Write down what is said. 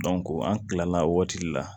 an kilala waati la